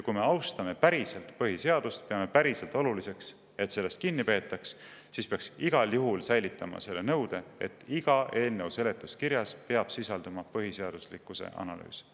Kui me austame päriselt põhiseadust, peame päriselt oluliseks, et sellest kinni peetaks, siis peaks igal juhul säilitama selle nõude, et iga eelnõu seletuskirjas peab sisalduma põhiseaduslikkuse analüüs.